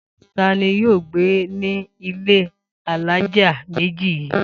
Ta ni yóò gbé ní ilé alájà méjì yìí?